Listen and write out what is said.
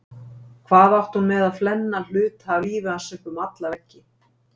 Hvað átti hún með að flenna hluta af lífi hans upp um alla veggi?